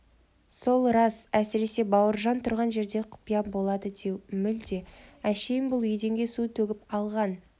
сол рас әсіресе бауыржан тұрған жерде құпия болады деу мүлде әшейін бұл еденге су төгіп алған